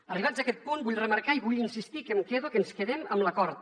arribats a aquest punt vull remarcar i vull insistir que em quedo que ens quedem amb l’acord